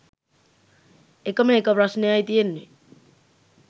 එකම එක ප්‍රශ්නයයි තියෙන්නෙ